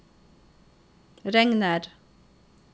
regner